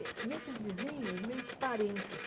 Eh e esses vizinhos, meio que parentes.